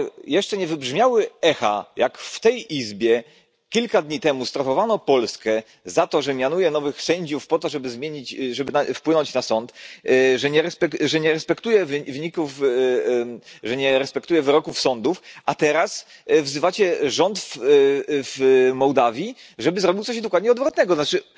Jeszcze nie wybrzmiały echa tego, gdy w tej Izbie kilka dni temu strofowano Polskę za to, że mianuje nowych sędziów, by wpływać na sąd, że nie respektuje wyroków sądów, a teraz wzywacie rząd w Mołdawii, żeby zrobił coś dokładnie odwrotnego to znaczy